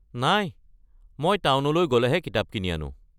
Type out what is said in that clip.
নাই মই টাউনলৈ গ’লেহে কিতাপ কিনি আনোঁ।